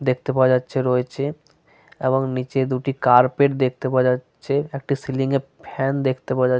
দেখতে পাওয়া যাচ্ছে রয়েছে এবং নিচে দুটি কার্পেট দেখতে পাওয়া যাচ্ছে। একটি সিলিং এ ফ্যান দেখতে পাওয়া যা --